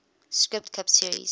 sprint cup series